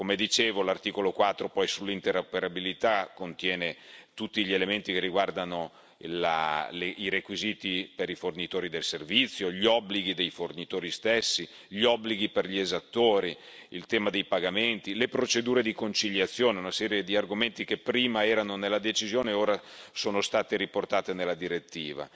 Come dicevo, l'articolo 4 sull'interoperabilità contiene tutti gli elementi che riguardano i requisiti per i fornitori del servizio, gli obblighi dei fornitori stessi, gli obblighi per gli esattori, il tema dei pagamenti, le procedure di conciliazione, una serie di argomenti che prima erano nella decisione ora sono state riportate nella direttiva.